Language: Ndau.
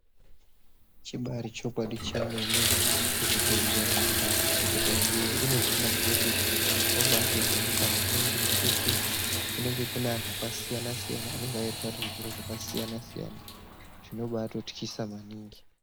Chibaari chokwadi chemene kuzvibhedhlera uko ukaendeyo une hana nhete, unobaatovhunduka maningi nekuti kunenge kune anhu akasiyana-siyana, anenga eirwara nezviro zvakasiyana-siyana. Zvinobaatotyisa maningi.